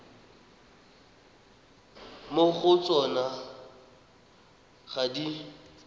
mo go tsona ga di